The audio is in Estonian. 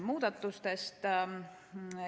Muudatustest.